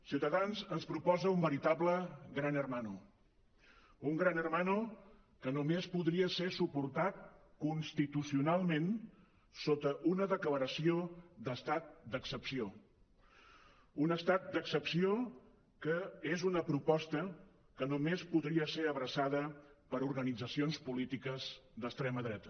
ciutadans ens proposa un veritable gran hermano un més podria ser suportat constitucionalment sota una declaració d’estat d’excepció un estat d’excepció que és una proposta que només podria ser abraçada per organitzacions polítiques d’extrema dreta